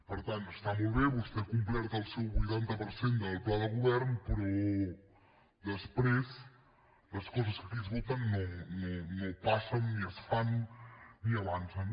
per tant està molt bé vostè ha complert el seu vuitanta per cent del pla de govern però després les coses que aquí es voten no passen ni es fan ni avancen